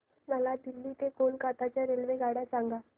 मला दिल्ली ते कोलकता च्या रेल्वेगाड्या सांगा